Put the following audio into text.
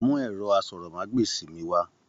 Mú ẹrọ àsọ̀rọ̀mágbèsi mí wá!